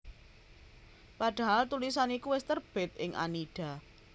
Padahal tulisan iku wis terbit ing Annida